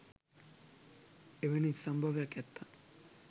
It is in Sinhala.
එවනි සම්භවයක් ඇත්තන්